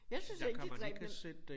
Jeg synes ikke det dræbende